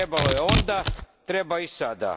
Trebalo je onda, treba i sada.